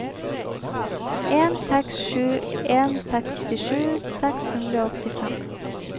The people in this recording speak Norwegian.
en seks sju en sekstisju seks hundre og åttifem